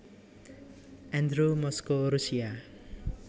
Andrew Moskow Rusia